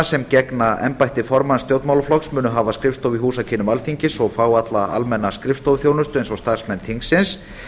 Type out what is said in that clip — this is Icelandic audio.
sem gegna embætti formanns stjórnmálaflokks munu hafa skrifstofu í húsakynnum alþingis og fá alla almenna skrifstofuþjónustu eins og starfsmenn þingsins